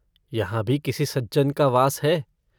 यहाँ भी किसी सज्जन का वास है।